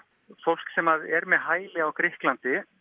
fólk sem er með hæli á Grikklandi